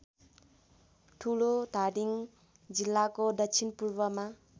ठुलोधादिङ जिल्लाको दक्षिणपूर्वमा